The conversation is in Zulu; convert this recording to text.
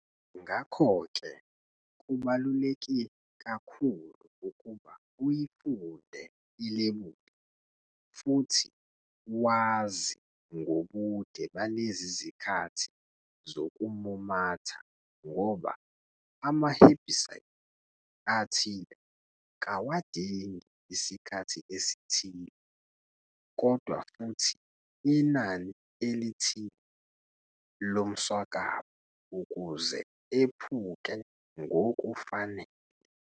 Ngakho ke kubaluleke kakhulu ukuba uyifunde ilebuli futhi wazi ngobude balezi zikhathi zokumumatha ngoba ama-herbicide athile kawadingi isikhathi esithile, kodwa futhi inani elithile lomswakama ukuze ephuke ngokufanele.